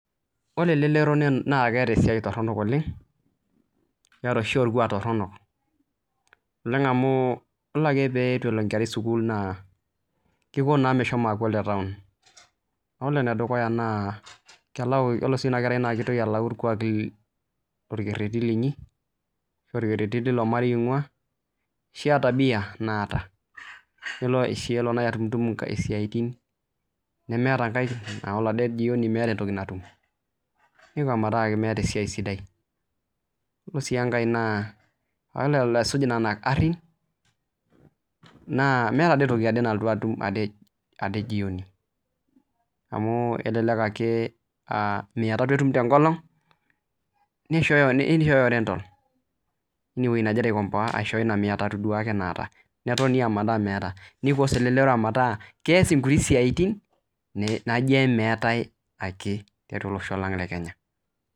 ore elerero naa keeta esisai toronok oleng' keeta oshi orkuak torronok neng'amu iyiolo ake pee itu elo enkkerai sukul naa keiko naa meshomo aaku ole town ore ene dukuya naa kelo sii ina kerai metaa keitoki alau irkuaaki lorketeti linyi oorketeti leilo marei oing'ua ashuu aa tabia naata kelo oshi atumutum enkae siaitin nemeeta enkae ore ade jioni meeta entoki natum neiko meeta meeta esiai sidai iyolo sii enkae naa ore elo aisuj nena arrin naa meeta dii toki nalotu ade atum ade teipa amu kelelek ake aa mia tatu etum tee nkolong' neishooyo rental eine weji nagira aikompoa aaisho ina mia tatu duaake naata netoni ometaa meeta neidok sii elerero metaa kees inkuti siaitin naijo meetae ake tiatua olosho lang' le kenya.